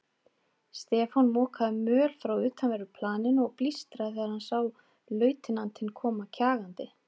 Stefán mokaði möl frá utanverðu planinu og blístraði þegar hann sá lautinantinn koma kjagandi.